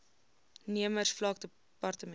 nemers vlak dept